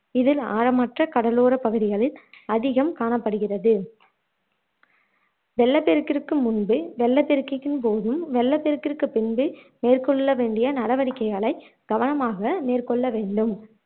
இதில் ஆழமற்ற கடலோரப் பகுதிகளில் அதிகம் காணப்படுகிறது வெள்ளப்பெருக்கிற்கு முன்பு வெள்ளப்பெருக்கின் போதும் வெள்ளப்பெருக்கிற்கு பின்பு மேற்கொள்ள வேண்டிய நடவடிக்கைகளை கவனமாக மேற்கொள்ள வேண்டும்.